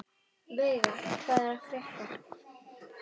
Veiga, hvað er að frétta?